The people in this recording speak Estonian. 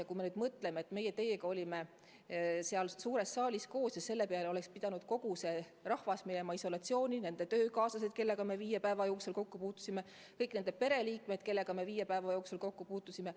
Ja kui me nüüd mõtleme, et meie teiega olime seal suures saalis koos, kas siis selle peale oleks pidanud kogu see rahvas minema isolatsiooni, pluss töökaaslased, kellega me viie päeva jooksul kokku puutusime, ja kõik kõikide pereliikmed, kellega viie päeva jooksul kokku on puututud?